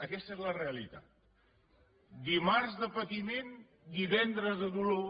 aquesta és la realitat dimarts de patiment divendres de dolor